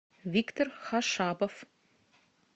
виктор хашабов